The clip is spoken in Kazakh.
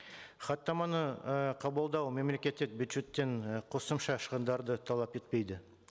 хаттаманы і қабылдау мемлекеттік бюжеттен і қосымша шығындарды талап етпейді